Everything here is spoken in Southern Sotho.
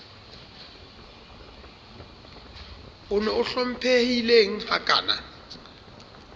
on o hlomphehileng ha kana